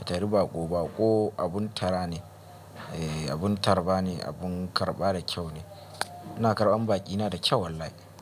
ka tari baƙo. Baƙo abun tara ne, abun tarba ne, abun karɓa da kyau ne. Ina karɓan baƙina da kyau wallahi.